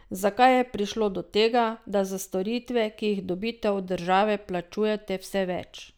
Zakaj je prišlo do tega, da za storitve, ki jih dobite od države, plačujete vse več?